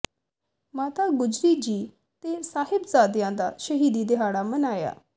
ਮਾਤਾ ਗੁਜਰੀ ਜੀ ਤੇ ਸਾਹਿਬਜ਼ਾਦਿਆਂ ਦਾ ਸ਼ਹੀਦੀ ਦਿਹਾੜਾ ਮਨਾਇਆ